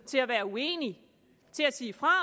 til at være uenig til at sige fra